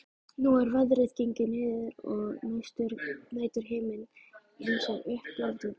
Nú er veðrið gengið niður og næturhiminninn lýsir upp landið.